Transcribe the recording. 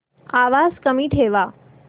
आवाज कमी ठेवा